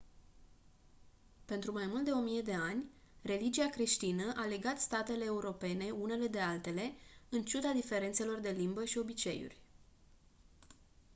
pentru mai mult de o mie de ani religia creștină a legat statele europene unele de altele în ciuda diferențelor de limbă și obiceiuri